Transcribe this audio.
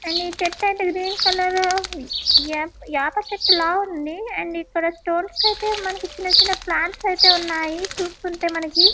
And ఈ చేటైతే green colour యాప్- యాపచెట్టు లా ఉంది అండ్ ఇక్కడ స్టోన్స్ కైతే మనకి చిన్న చిన్న ప్లాంట్స్ ఐతే ఉన్నాయి చూస్తుంటే మనకి.